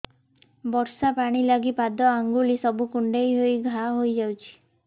ବର୍ଷା ପାଣି ଲାଗି ପାଦ ଅଙ୍ଗୁଳି ସବୁ କୁଣ୍ଡେଇ ହେଇ ଘା ହୋଇଯାଉଛି